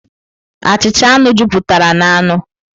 Achịcha anu jupụtara n'anụ.